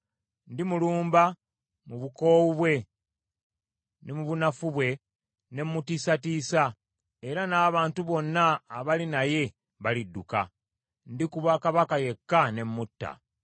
Ndimulumba mu bukoowu bwe ne mu bunafu bwe ne mutiisatiisa, era n’abantu bonna abali naye balidduka. Ndikuba kabaka yekka ne mutta,